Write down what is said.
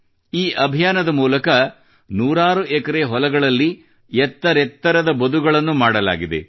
ಈ ಅಭಿಯಾನದ ಮೂಲಕ ನೂರಾರು ದೊಡ್ಡ ಹೊಲಗಳಲ್ಲಿ ಎತ್ತರೆತ್ತರದ ಬದುಗಳನ್ನು ಮಾಡಲಾಗಿದೆ